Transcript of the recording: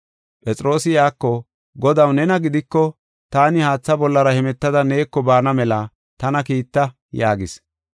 Phexroosi iyako, “Godaw, nena gidiko, taani haatha bollara hemetada neeko baana mela tana kiitta” yaagis.